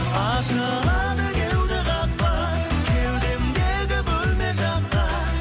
ашылады кеуде қақпа кеудемдегі бөлме жаққа